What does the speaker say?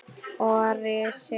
Og risi!